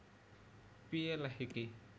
Piye lèh iki